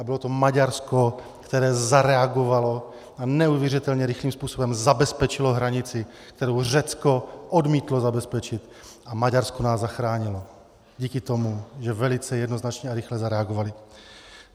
A bylo to Maďarsko, které zareagovalo a neuvěřitelně rychlým způsobem zabezpečilo hranici, kterou Řecko odmítlo zabezpečit, a Maďarsko nás zachránilo díky tomu, že velice jednoznačně a rychle zareagovalo.